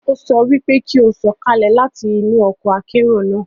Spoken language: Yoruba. O sọ pe ki o sọkalẹ láti inú ọkọ akero naa!